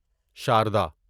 Sharda